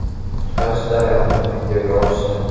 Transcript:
Qutqarish jarayonini videoga olishdi.